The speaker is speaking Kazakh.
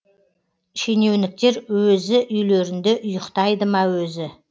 шенеуніктер өзі үйлерінде ұйықтайды ма өзі